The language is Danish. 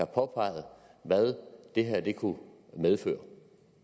påpegede hvad det her kunne medføre